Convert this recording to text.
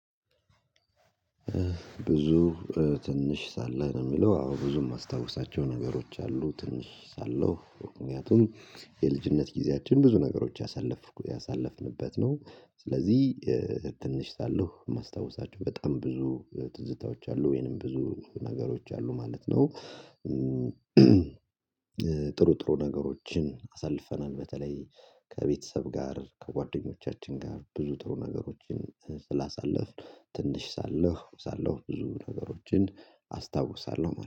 ብዙ ትንሽ ሳለህ የሚለው አዎ ብዙም የማስታውሳቸው ነገሮች አሉ ትንሽ ሳለሁ ምክንያቱም የልጅነት ጊዜያችን ብዙ ነገሮች ያሳለፍንበት ነው ስለዚህ ትንሽ ሰአሁ የማስታውሳቸው በጣም ብዙ ትዝታዎች አሉ ወይንም ብዙ ነገሮች አሉ ማለት ነው። ጥሩ ጥሩ ነገሮችን አሳልፈናል በተለይ ከቤተሰብ ጋር ከጓደኞቻችን ጋር ብዙ ጥሩ ነገሮችን ስላሳለፍን ትንሽ ሳለህ ሳለህ ብዙ ነገሮችን አስታውሳለሁ